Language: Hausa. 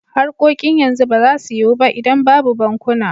Harkokin yanzu ba za su yiwu ba idan babu bankuna.